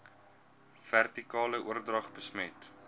vertikale oordrag besmet